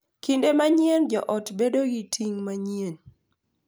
Kinde mang’eny joot bedo gi ting’ mang’eny,